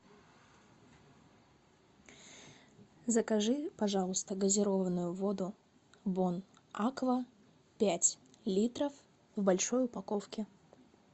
закажи пожалуйста газированную воду бон аква пять литров в большой упаковке